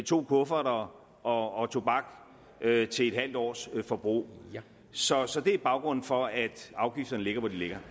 to kufferter og tobak til et halvt års forbrug så så det er baggrunden for at afgifterne ligger hvor de ligger